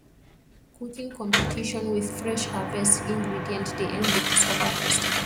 cooking competition with fresh harvest ingredient dey end the cassava festival